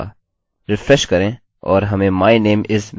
refresh करें और हमें my name is मिलता है